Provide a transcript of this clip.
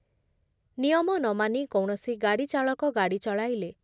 ନିୟମ ନ ମାନି କୌଣସି ଗାଡି ଚାଳକ ଗା ଗାଡି ଚଳାଇଲେ